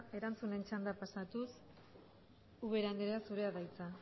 erantzunen txandara pasatuz ubera andrea zurea da hitza